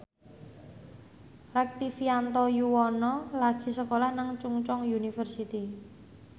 Rektivianto Yoewono lagi sekolah nang Chungceong University